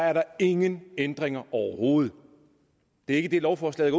er der ingen ændringer overhovedet det er ikke det lovforslaget